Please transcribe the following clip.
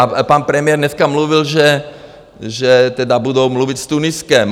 A pan premiér dneska mluvil, že tedy budou mluvit s Tuniskem.